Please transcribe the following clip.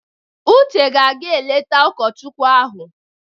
Uche ga-aga eleta ụkọchukwu ahụ.